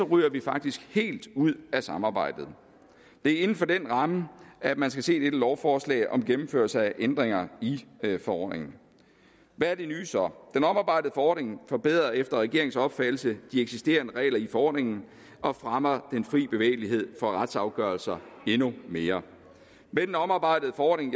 ryger vi faktisk helt ud af samarbejdet det er inden for den ramme at man skal se det her lovforslag om gennemførelse af ændringer i forordningen hvad er det nye så den omarbejdede forordning forbedrer efter regeringens opfattelse de eksisterende regler i forordningen og fremmer den frie bevægelighed for retsafgørelser endnu mere med den omarbejdede forordning